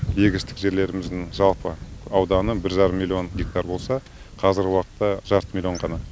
егістік жерлеріміздің жалпы ауданы бір жарым миллион гектар болса қазіргі уақытта жарты миллион ғана